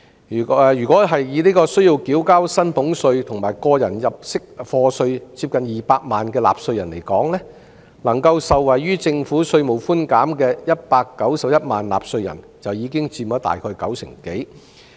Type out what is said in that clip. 若以需要繳交薪俸稅和個人入息課稅的接近200萬名納稅人而言，能夠受惠於政府稅務寬免的191萬名納稅人佔其中九成多。